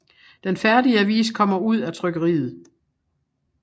Den færdige avis kommer ud af trykkeriet